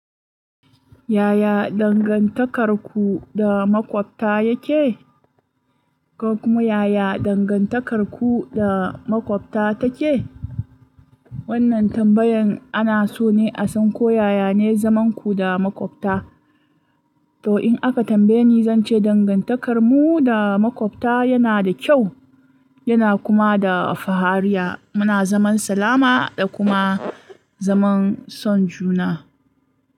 Yaya dangantakarku da maƙwabta yake? Ko kuma yaya dangantakarku da maƙwabta take? Wannan tambayan ana so ne a san ko yaya ne zaman ku da maƙwabta. To in aka tambaye ni, zan ce dangantakarmu da maƙwabta yana da kyau yana kuma da fahariya. Muna zaman salama da kuma zaman son juna.